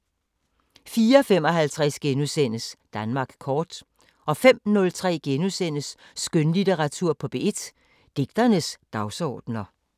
04:55: Danmark kort * 05:03: Skønlitteratur på P1: Digternes dagsordener *